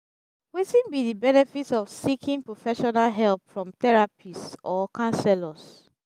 wetin be di benefits of seeking professional help from therapists or counselors?